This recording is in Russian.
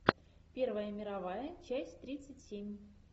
первая мировая часть тридцать семь